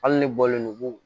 Hali ne bɔlen no